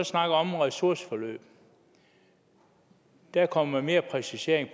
snakker om ressourceforløb og der kommer mere præcisering i